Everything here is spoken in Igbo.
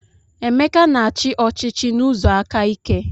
Emeka na-achị ọchịchị n'ụzọ aka ike.